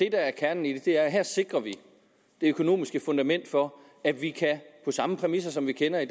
er kernen i det er at vi her sikrer det økonomiske fundament for at vi på samme præmisser som vi kender i